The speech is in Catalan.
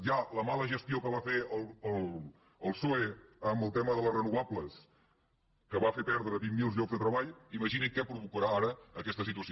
ja la mala gestió que va fer el psoe en el tema de les renovables que va fer perdre vint mil llocs de treball imaginin què provocarà ara aquesta situació